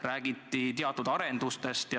Räägiti teatud arendustest.